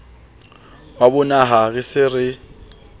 wa bonaha re se re